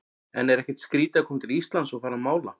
En er ekkert skrítið að koma til Íslands og fara að mála?